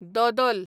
दोदोल